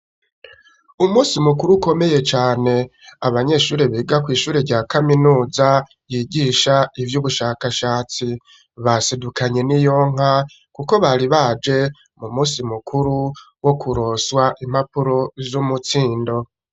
Umusi mukuru ukomeye cane abanyeshuri bega kw'ishure rya kaminuza yigisha ivyo ubushakashatsi basedukanye n'i yonka, kuko bari baje mu musi mukuru wo kuroswa impapuro vy'umutsindo.